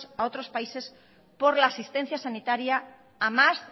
a otros países por la asistencia sanitaria a más